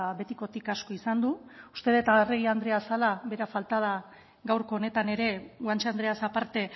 betikotik asko izan du uste dut arregi andrea zela bera falta da gaurko honetan ere guanche andreaz aparte